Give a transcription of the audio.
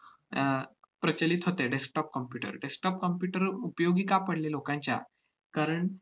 अह प्रचलित होते desktop computer. desktop computer उपयोगी का पडले लोकांच्या? कारण,